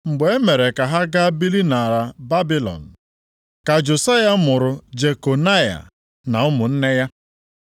Mgbe e mere ka ha gaa biri nʼala Babilọn ka Josaya mụrụ Jekonaya na ụmụnne ya.